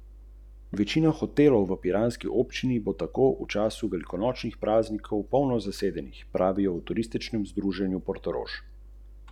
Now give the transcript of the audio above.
Zaradi izkušenj iz preteklih protestov in drugih dogodkov nekako ne pričakujemo veliko ljudi.